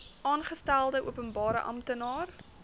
aangestelde openbare amptenaar